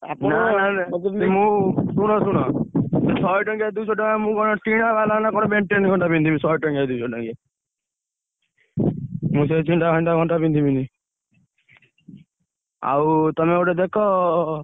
ମୁଁ ଶୁଣ ଶୁଣ ଶହେ ଟଙ୍କିଆ ଦୁଇଶହ ଟଙ୍କା ମୁଁ କଣ ଟିଣବାଲା ନା କଣ ଘଣ୍ଟା ପିନ୍ଧିବି ଶହେ ଟଙ୍କିଆ ଦୁଇଶ ଟଙ୍କିଆ